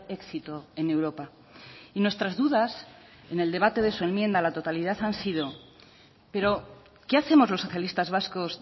éxito en europa y nuestras dudas en el debate de su enmienda a la totalidad han sido pero qué hacemos los socialistas vascos